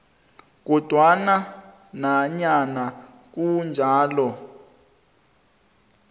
kodwana nanyana kunjalo